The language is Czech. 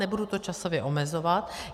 Nebudu to časově omezovat.